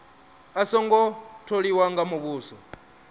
a songo tholiwa nga muvhuso